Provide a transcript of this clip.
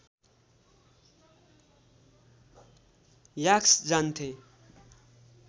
यास्क जान्थे